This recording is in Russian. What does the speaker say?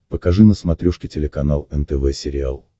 покажи на смотрешке телеканал нтв сериал